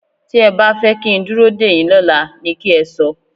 Tí ẹ bá fẹ́ kí n dúró dèyín lọ́la ni kẹ́ ẹ sọ.